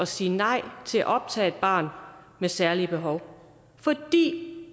sige nej til at optage et barn med særlige behov fordi